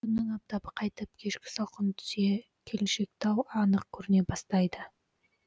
күннің аптабы қайтып кешкі салқын түсе келіншектау анық көріне бастайды